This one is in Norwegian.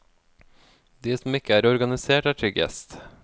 De som ikke er organisert er tryggest.